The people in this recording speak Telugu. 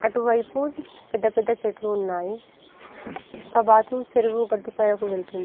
అటు వైపు పెద్ద పెద్ద చెట్లు ఉన్నాయి. ఒక బాతు చెరువు గట్టు పైకి వెళుతుంది.